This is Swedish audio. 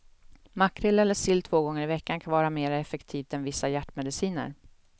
Makrill eller sill två gånger i veckan kan vara mer effektivt än vissa hjärtmediciner.